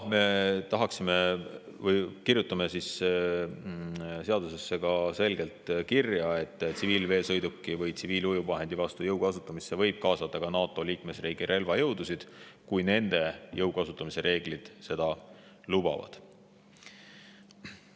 Me paneme seadusesse selgelt kirja, et tsiviilveesõiduki või tsiviilujuvvahendi vastu jõu kasutamisse võib kaasata ka NATO liikmesriigi relvajõudusid, kui nende jõu kasutamise reeglid seda lubavad.